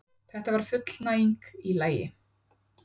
Þetta var fullnæging í lagi.